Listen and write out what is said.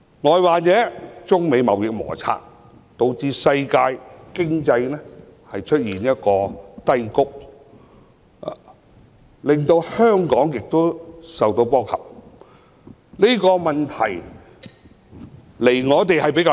外患者，是指中美貿易摩擦，導致世界經濟陷於低谷，香港亦受波及，但這個問題離我們比較遠。